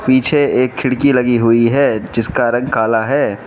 पीछे एक खिड़की लगी हुई है जिसका रंग काला है।